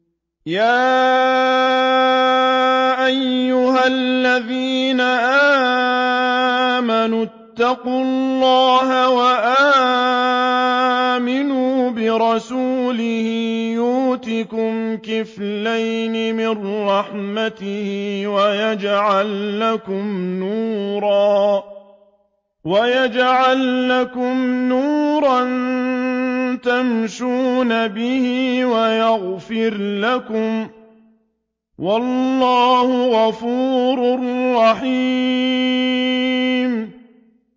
يَا أَيُّهَا الَّذِينَ آمَنُوا اتَّقُوا اللَّهَ وَآمِنُوا بِرَسُولِهِ يُؤْتِكُمْ كِفْلَيْنِ مِن رَّحْمَتِهِ وَيَجْعَل لَّكُمْ نُورًا تَمْشُونَ بِهِ وَيَغْفِرْ لَكُمْ ۚ وَاللَّهُ غَفُورٌ رَّحِيمٌ